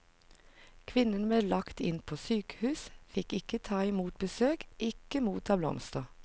Kvinnene ble lagt inn på sykehus, fikk ikke ta i mot besøk, ikke motta blomster.